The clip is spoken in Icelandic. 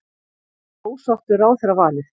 Ósátt við ráðherravalið